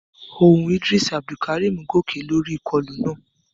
Ohùn Idris Abdulkarim gòkè lórí ìkọlù náà.